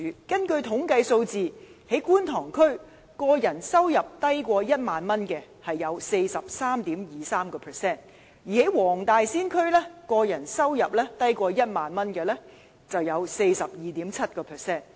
根據統計數字，觀塘區個人收入低於1萬元的人口佔 43.23%， 而黃大仙區個人收入低於1萬元的佔 42.7%。